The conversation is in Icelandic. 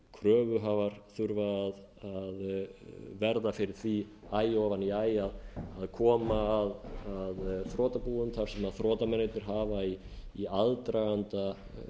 kröfuhafar þurfa að verða fyrir því æ ofan í æ að koma að þrotabúum þar sem þrotamennirnir hafa í aðdraganda